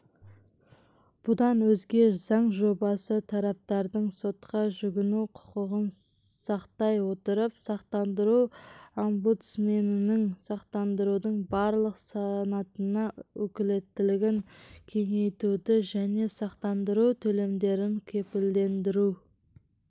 бұдан өзге заң жобасы тараптардың сотқа жүгіну құқығын сақтай отырып сақтандыру омбудсменінің сақтандырудың барлық санатына өкілеттілігін кеңейтуді және сақтандыру төлемдерін кепілдендіру